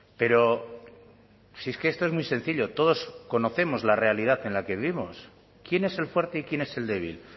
pero si es que esto es muy sencillo todos conocemos la realidad en la que vivimos quién es el fuerte y quién es el débil